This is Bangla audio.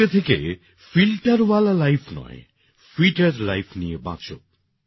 আজকে থেকে ফিল্টার ওয়ালা লাইফ নয় ফিটার লাইফ নিয়ে বাঁচো